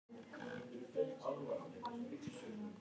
Í svari sínu við spurningunni Hvað er snertiskyn?